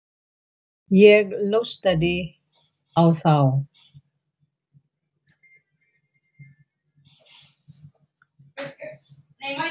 Ég hlustaði á þá.